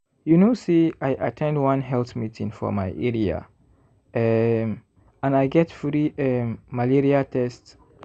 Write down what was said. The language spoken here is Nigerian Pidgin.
you know say i at ten d one health meeting for my area um and i get free um malaria test.